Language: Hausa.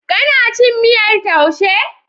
Kana cin miyar taushe?